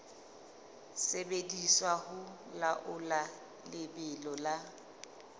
sebediswa ho laola lebelo la